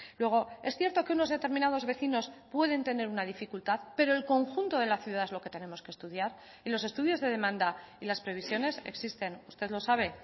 luego es cierto que unos determinados vecinos pueden tener una dificultad pero el conjunto de la ciudad es lo que tenemos que estudiar y los estudios de demanda y las previsiones existen usted lo sabe